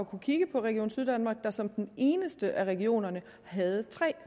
kunne kigge på region syddanmark der som den eneste af regionerne havde tre